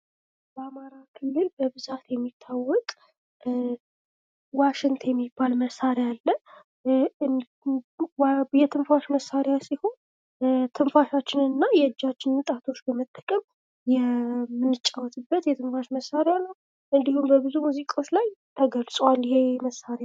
በአማራ ክልል በብዛት የሚታወቅ ዋሽንት የሚባል መሳሪያ አለ ።የትንፋሽ መሳሪያ ሲሆን ትንፋሻችንን እና የእጃችን ጣቶችን መጠቀም የምንጫወትበት የትንፋሽ መሳሪያ ነው ።እንዲሁም በብዙ ሙዚቃዎች ላይ ተገልጿል ይሄ መሳሪያ